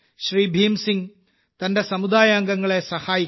ഭീം സിംഗ് തന്റെ സമുദായാംഗങ്ങളെ സഹായിക്കുന്നു